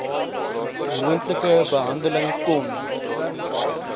moontlike behandeling kon